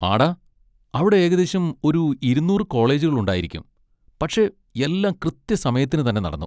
ആടാ, അവിടെ ഏകദേശം ഒരു ഇരുന്നൂറ് കോളേജുകൾ ഉണ്ടായിരിക്കും, പക്ഷെ എല്ലാം കൃത്യസമയത്തിന് തന്നെ നടന്നു.